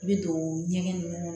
I bɛ don ɲɛgɛn ninnu na